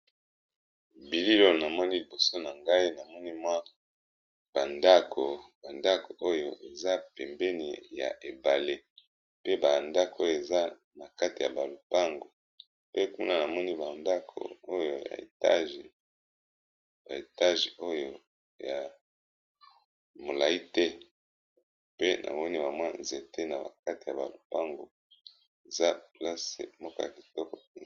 Bililo na moni liboso na ngai namoni mwa adakobandako oyo eza pembeni ya ebale pe bandako eza na kati ya balupango pe kuna na moni bandako oyo yba etage oyo ya molai te pe na moni ba mwa nzete na bakati ya balupango eza place moka kitoko.